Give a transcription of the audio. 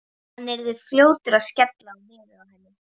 Hann yrði fljótur að skella á nefið á henni.